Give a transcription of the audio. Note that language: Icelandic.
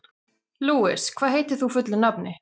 Louise, hvað heitir þú fullu nafni?